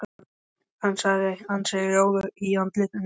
Hann var ansi rjóður í andliti.